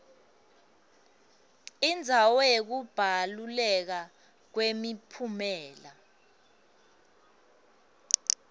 indzawo yekubaluleka kwemiphumela